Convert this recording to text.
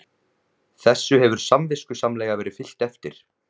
Þessu hefur samviskusamlega verið fylgt eftir